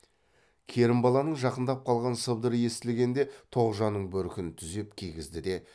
керімбаланың жақындап қалған сыбдыры естілгенде тоғжанның бөркін түзеп кигізді де